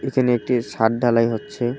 এখানে একটি সাদ ঢালাই হচ্ছে।